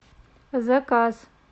заказ